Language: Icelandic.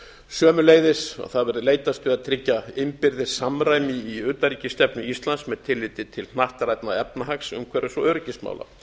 sömuleiðis að það verði leitast við að tryggja innbyrðis samræmi í utanríkisstefnu íslands með tilliti til hnattrænna efnahags umhverfis og öryggismála